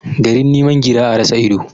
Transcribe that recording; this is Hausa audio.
Garin niman gira, a rasa ido.